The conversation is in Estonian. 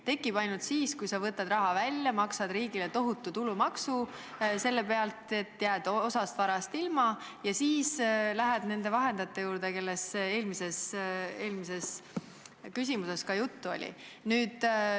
Tekib ainult siis, kui sa võtad raha välja, maksad riigile selle pealt tohutu tulumaksu, nii et jääd osast varast ilma, ja siis lähed nende vahendajate juurde, kellest eelmises küsimuses juttu oli.